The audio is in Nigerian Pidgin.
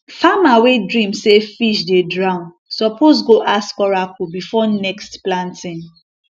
farmer wey dream say fish dey drown suppose go ask oracle before next planting